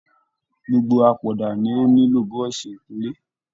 Gbogbo apoda ni o nílò buroṣi ikunle.